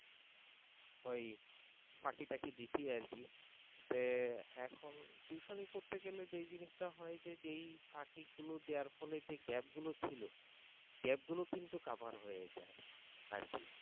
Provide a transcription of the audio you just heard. ওই ফাঁকি টাকি দিছি আর কি এখন tuition নি করতে গেলে যে জিনিসটা হয় যে যেই ফাকি গুলো দেয়ার ফলে যে gap গুলো ছিল আরকি gap গুলো কিন্তু cover হয়ে যায় আরকি